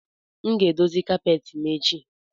M ga-edozi kapeti m echi